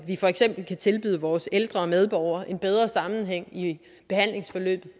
vi for eksempel kan tilbyde vores ældre medborgere en bedre sammenhæng i et behandlingsforløb